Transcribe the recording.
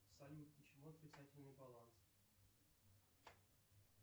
салют почему отрицательный баланс